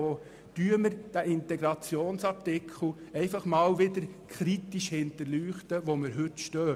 Es geht darum, den Integrationsartikel kritisch zur durchleuchten und schauen, wo wir heute stehen.